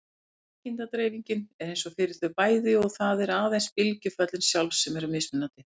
Líkindadreifingin er eins fyrir þau bæði og það eru aðeins bylgjuföllin sjálf sem eru mismunandi.